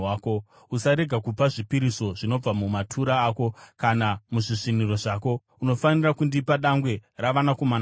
“Usarega kupa zvipiriso zvinobva mumatura ako kana muzvisviniro zvako. “Unofanira kundipa dangwe ravanakomana vako.